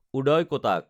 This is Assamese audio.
উদয় কটাক